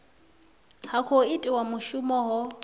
ha khou itiwa mushumo ho